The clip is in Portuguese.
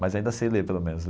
Mas ainda sei ler, pelo menos.